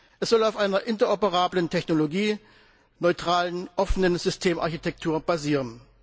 Es soll auf einer interoperablen technologieneutralen offenen Systemarchitektur basieren.